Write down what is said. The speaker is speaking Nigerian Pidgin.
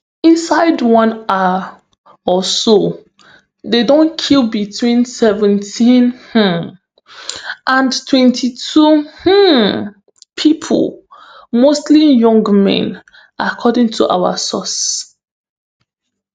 inside one hour or so dem don kill between seventeen um and twenty-two um pipo mostly young men according to our sources